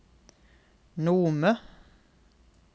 Nome